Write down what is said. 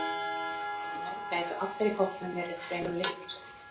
Raunar gætu allir í hópnum verið fremur litlir.